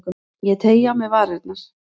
Ég teygi á mér varirnar.